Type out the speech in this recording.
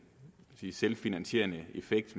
selvfinansierende effekt